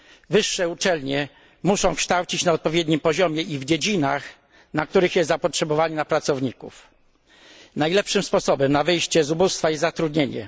Wyższe uczelnie muszą kształcić na odpowiednim poziomie i w dziedzinach, w których jest zapotrzebowanie na pracowników. Najlepszym sposobem na wyjście z ubóstwa jest zatrudnienie.